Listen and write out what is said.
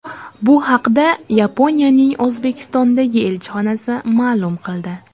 Bu haqda Yaponiyaning O‘zbekistondagi elchixonasi ma’lum qildi .